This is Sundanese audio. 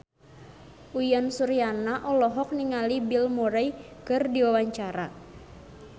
Uyan Suryana olohok ningali Bill Murray keur diwawancara